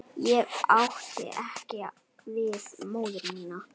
Ég átti ekki við móður mína.